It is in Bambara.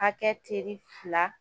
Hakɛ teri fila